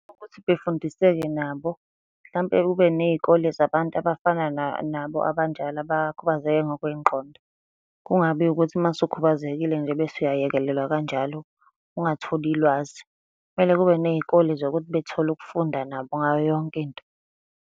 Ukuthi befundiseke nabo hlampe kube ney'kole zabantu abafana nabo abanjalo abakhubazeke ngokwengqondo. Kungabi ukuthi uma usukhubazekile nje bese uyayekelelwa kanjalo ungatholi lwazi, Kumele kube ney'kole zokuthi bethole ukufunda nabo ngayo yonke into.